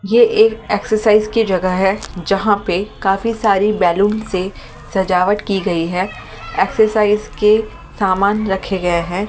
ये एक एक्सरसाइज की जगह है जहां पे काफी सारी बैलून से सजावट की गई है एक्सरसाइज के सामान रखे गए हैं।